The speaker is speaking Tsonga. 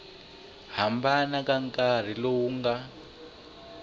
hambana ka nkarhi lowu nga